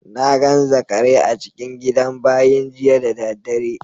Na gan zakarai a cikin gidan bayin jiya da dare.